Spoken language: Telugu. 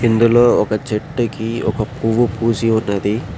ఇందులో ఒక చెట్టుకి ఒక పువ్వు పూసి ఉన్నది.